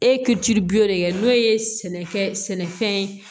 E ka jiribulon kɛ n'o ye sɛnɛkɛ sɛnɛfɛn ye